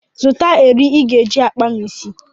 Zụta eri ị ga-eji akpa m isi.